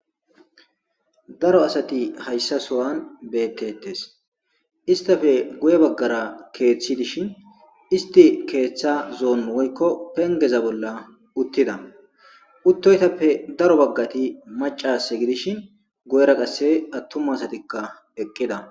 Darro asatti hayssa sohan bettetes istappe bagattiketha kethi dishin isttape ketha fengezza bolla uttida utuyzzappe darro assay macca asa gidishin guyerra qassi atumma asatikka eqqidda.